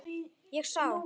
Ég sá